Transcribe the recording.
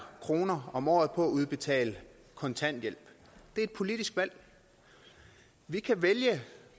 kroner om året på at udbetale kontanthjælp det er et politisk valg vi kan vælge